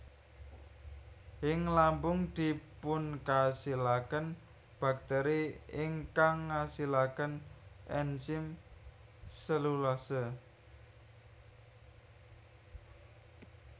Ing lambung dipunkasilaken baktèri ingkang ngasilaken enzim selulase